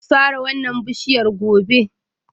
Zan sare wannan bishiyar gobe